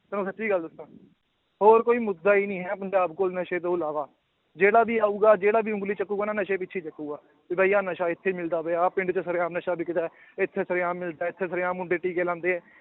ਤੈਨੂੰ ਸੱਚੀ ਗੱਲ ਦੱਸਾਂ ਹੋਰ ਕੋਈ ਮੁੱਦਾ ਹੀ ਨੀ ਹੈ ਪੰਜਾਬ ਕੋਲ ਨਸ਼ੇ ਤੋਂ ਇਲਾਵਾ, ਜਿਹੜਾ ਵੀ ਆਊਗਾ ਜਿਹੜਾ ਵੀ ਉਂਗਲੀ ਚੁੱਕੇਗਾ ਨਾ ਨਸ਼ੇ ਪਿੱਛੇ ਹੀ ਚੁੱਕੇਗਾ, ਵੀ ਬਾਈ ਆਹ ਨਸ਼ਾ ਇੱਥੇ ਮਿਲਦਾ ਪਿਆ, ਆਹ ਪਿੰਡ 'ਚ ਸਰੇਆਮ ਨਸ਼ਾ ਵਿਕਦਾ ਹੈ, ਇੱਥੇ ਸਰੇਆਮ ਮਿਲਦਾ ਹੈ, ਇੱਥੇ ਸਰੇਆਮ ਮੁੰਡੇ ਟੀਕੇ ਲਾਉਂਦੇ ਹੈ